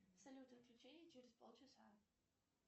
салют отключение через полчаса